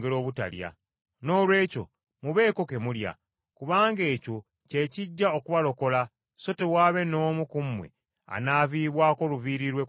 Noolwekyo mubeeko ke mulya, kubanga ekyo kye kijja okubalokola so tewaabe n’omu ku mmwe anaavibwako luviiri lwe ku mutwe gwe.”